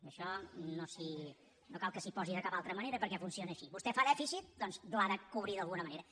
i això no cal que s’hi posi de cap altra manera perquè funciona així vostè fa dèficit doncs l’ha de cobrir d’alguna manera